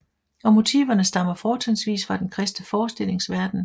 Og motiverne stammer fortrinsvis fra den kristne forestillingsverden